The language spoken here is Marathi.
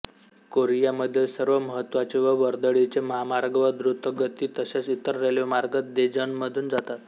कोरियामधील सर्व महत्त्वाचे व वर्दळीचे महामार्ग व दृतगती तसेच इतर रेल्वेमार्ग देजॉनमधून जातात